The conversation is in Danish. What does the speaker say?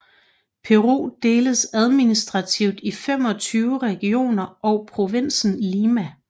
Peru deles administrativt i 25 regioner og provinsen Lima